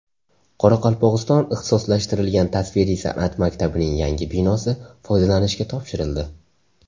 Qoraqalpog‘iston ixtisoslashtirilgan tasviriy san’at maktabining yangi binosi foydalanishga topshirildi.